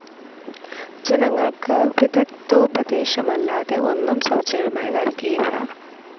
ജനങ്ങൾക്ക് വിദഗ്ദ്ധോപദേശമല്ലാതെ ഒന്നും സൗജന്യമായി നൽകിയില്ല.